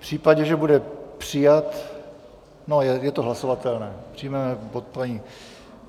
V případě, že bude přijat... no, je to hlasovatelné, přijmeme bod paní...